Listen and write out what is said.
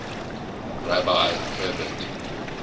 rabbi herbert